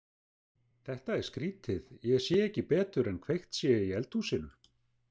Þetta er skrýtið, ég sé ekki betur en kveikt sé í eldhúsinu.